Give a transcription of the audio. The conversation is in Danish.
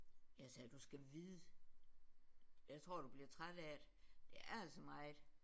Jeg sagde du skal vide jeg tror du bliver træt af det. Det er altså meget